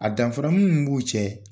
A danfara min m'u cɛ.